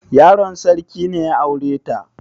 Yaron sarki ne ya aure ta?